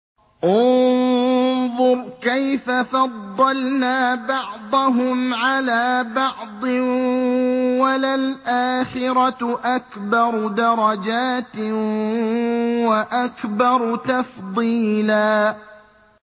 انظُرْ كَيْفَ فَضَّلْنَا بَعْضَهُمْ عَلَىٰ بَعْضٍ ۚ وَلَلْآخِرَةُ أَكْبَرُ دَرَجَاتٍ وَأَكْبَرُ تَفْضِيلًا